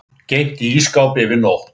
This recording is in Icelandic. Geymt í ísskáp yfir nótt.